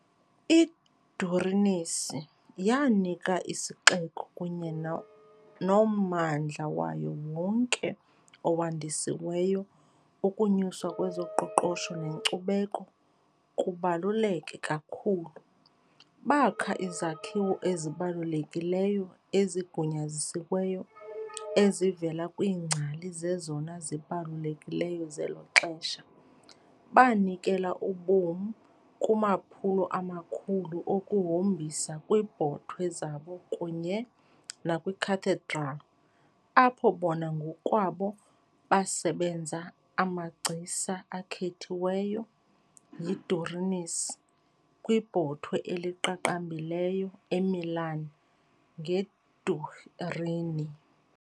I-Durinis yanika isixeko kunye nommandla wayo wonke owandisiweyo ukunyuswa kwezoqoqosho nenkcubeko kubaluleke kakhulu, bakha izakhiwo ezibalulekileyo ezigunyazisiweyo ezivela kwiingcali zezona zibalulekileyo zelo xesha, banikela ubomi kumaphulo amakhulu okuhombisa kwiibhotwe zabo kunye nakwiCathedral, apho bona ngokwabo basebenza amagcisa akhethiweyo yiDurinis kwibhotwe eliqaqambileyo eMilan ngeDurini.